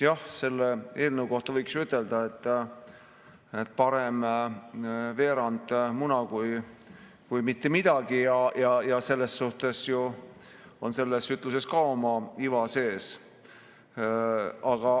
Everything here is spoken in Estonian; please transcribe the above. Jah, selle eelnõu kohta võiks ju ütelda, et parem veerand muna kui mitte midagi, ja selles suhtes on selles ütluses ka oma iva sees.